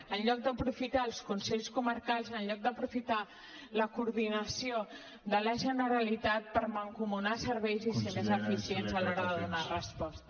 en lloc d’aprofitar els consells comarcals en lloc d’aprofitar la coordinació de la generalitat per mancomunar serveis i ser més eficients a l’hora de donar resposta